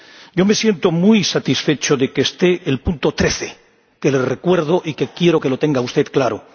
Yo me siento muy satisfecho de que esté el apartado 13, que le recuerdo y que quiero que tenga claro.